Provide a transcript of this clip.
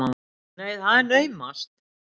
Nú, það er naumast!